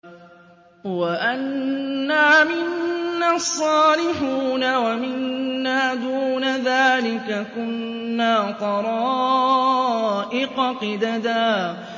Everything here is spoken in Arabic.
وَأَنَّا مِنَّا الصَّالِحُونَ وَمِنَّا دُونَ ذَٰلِكَ ۖ كُنَّا طَرَائِقَ قِدَدًا